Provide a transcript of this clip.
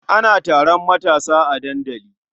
Ana taron matasa a dandali.